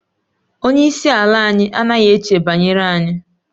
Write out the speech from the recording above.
Onye isi ala anyị anaghị eche banyere anyị